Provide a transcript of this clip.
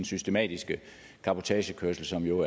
systematiske cabotagekørsel som jo